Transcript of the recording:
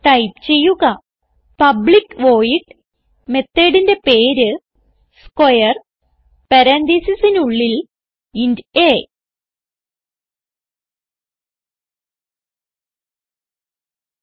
type ചെയ്യുക public void methodന്റെ പേര് സ്ക്വയർ പരാൻതീസിസിനുള്ളിൽ ഇന്റ് അ